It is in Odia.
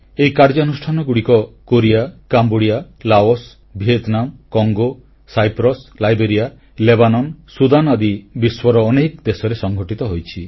ଏହି କାର୍ଯ୍ୟାନୁଷ୍ଠାନଗୁଡ଼ିକ Korea Cambodia Laos Vietnam Congo Cyprus Liberia Lebanon Sudan ଆଦି ବିଶ୍ୱର ଅନେକ ଦେଶରେ ସଂଘଟିତ ହୋଇଛି